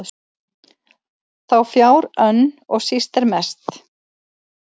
þá fjár önn og síst er mest